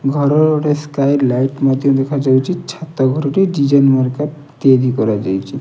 ଘରର ଗୋଟେ sky light ମଧ୍ୟ ଦେଖାଯାଉଛି ଛାତ ଘରଟି ଡିଜାଇନ ମାର୍କା କରା ଯାଇଛି।